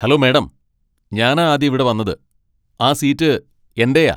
Hello madam, ഞാനാ ആദ്യം ഇവിടെ വന്നത്. ആ സീറ്റ് എന്റെയാ.